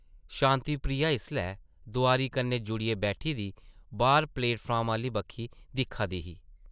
शांति प्रिया इसलै दोआरी कन्नै जुड़ियै बैठी दी बाह्र प्लेटफार्म आह्ली बक्खी दिक्खा दी ही ।